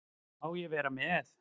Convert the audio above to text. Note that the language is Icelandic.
Má ég vera með?